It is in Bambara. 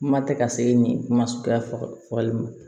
Kuma tɛ ka se nin ma suguya faga fɔli ma